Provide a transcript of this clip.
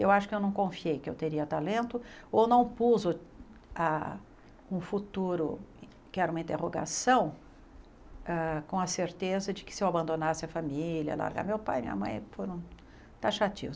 Eu acho que eu não confiei que eu teria talento ou não pus o ah um futuro que era uma interrogação ah com a certeza de que se eu abandonasse a família, largar meu pai, minha mãe, foram taxativos.